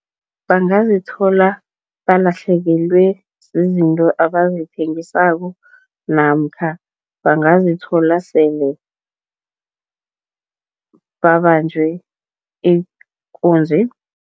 Bangazithola balahlekelwe zizinto abazithengisako namkha bangazithola sele babanjwe ikunzi.